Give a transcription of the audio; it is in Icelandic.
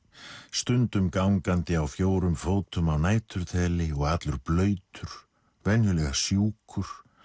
stundum gangandi á fjórum fótum á næturþeli og allur blautur venjulega sjúkur